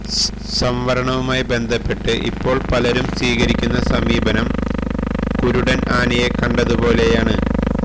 സംവരണവുമായി ബന്ധപ്പെട്ട് ഇപ്പോൾ പലരും സ്വീകരിക്കുന്ന സമീപനം കുരുടൻ ആനയെ കണ്ടതുപോലെയാണ്